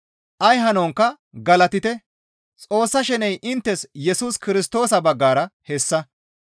Ay hanonkka galatite; Xoossa sheney inttes Yesus Kirstoosa baggara hessa.